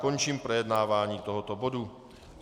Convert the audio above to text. Končím projednávání tohoto bodu.